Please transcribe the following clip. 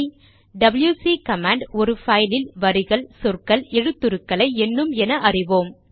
WC command ஒரு பைலில் வரிகள் சொற்கள் எழுத்துருக்களை எண்ணும் என அறிவோம்